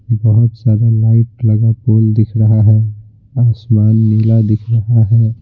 बहुत सारा लाइट लगा पोल दिख रहा है आसमान नीला दिख रहा है।